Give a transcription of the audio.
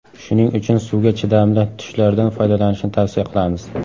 Shuning uchun suvga chidamli tushlardan foydalanishni tavsiya qilamiz.